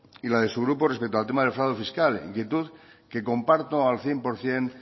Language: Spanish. y la de su grupo respecto al tema del fraude fiscal inquietud que comparto al cien por ciento